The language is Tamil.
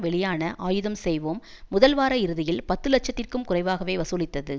வெளியான ஆயுதம் செய்வோம் முதல்வார இறுதியில் பத்துலட்சத்திறகும் குறைவாகவே வசூலித்தது